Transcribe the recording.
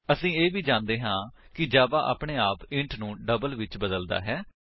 ਅਸੀ ਇਹ ਵੀ ਜਾਣਦੇ ਹਾਂ ਕਿ ਜਾਵਾ ਆਪਣੇ ਆਪ ਇੰਟ ਨੂੰ ਡਬਲ ਵਿੱਚ ਬਦਲਦਾ ਹੈ